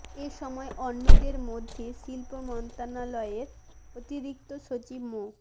এ সময় অন্যদের মধ্যে শিল্প মন্ত্রণালয়ের অতিরিক্ত সচিব মো